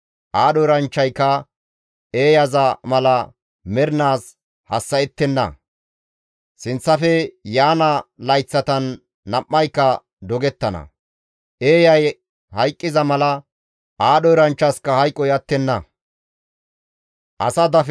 Aadho eranchchayka eeyaza mala mernaas hassa7ettenna; sinththafe yaana layththatan nam7ayka dogettana; eeyay hayqqiza mala aadho eranchchasikka hayqoy attenna.